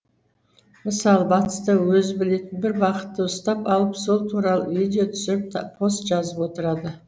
мысалы батыста өзі білетін бір бағытты ұстап алып сол туралы видео түсіріп пост жазып отырады